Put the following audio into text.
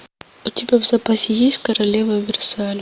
у тебя в запасе есть королева версаля